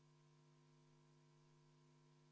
EKRE fraktsiooni ettepanekul kümme minutit vaheaega.